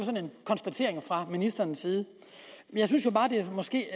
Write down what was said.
konstatering fra ministerens side jeg synes jo bare det måske